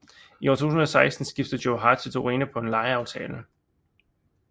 I år 2016 skiftede Joe Hart til Torino på en lejeaftale